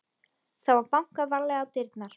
Það var bankað varlega á dyrnar.